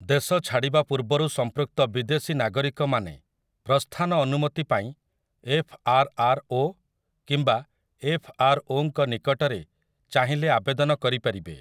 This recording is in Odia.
ଦେଶ ଛାଡିବା ପୂର୍ବରୁ ସମ୍ପୃକ୍ତ ବିଦେଶୀ ନାଗରିକମାନେ ପ୍ରସ୍ଥାନ ଅନୁମତି ପାଇଁ 'ଏଫ୍ ଆର୍ ଆର୍ ଓ' କିମ୍ବା 'ଏଫ୍ ଆର୍ ଓ'ଙ୍କ ନିକଟରେ ଚାହିଁଲେ ଆବେଦନ କରିପାରିବେ ।